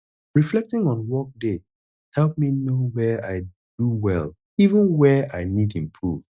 reflecting on workday help me know where i do well even where i need improve